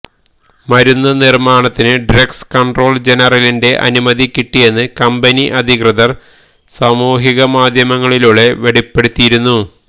മരുന്ന് നിർമാണത്തിന് drugs control ജനറലിന്റെ അനുമതി കിട്ടിയെന്ന് കമ്പനി അധികൃതർ സാമൂഹിക മാധ്യമങ്ങളിലൂടെ വെളിപ്പെടുത്തിയിരുന്നു